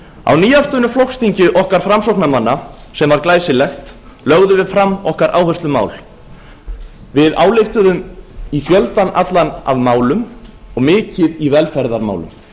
á nýafstöðnu flokksþingi okkar framsóknarmanna sem var glæsilegt lögðum við fram áherslumál okkar við ályktuðum um fjöldann allan af málum og mikið í velferðarmálum